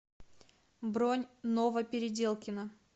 бронь новопеределкино